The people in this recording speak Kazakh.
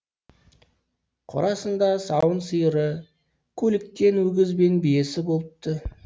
қорасында сауын сиыры көліктен өгіз бен биесі болыпты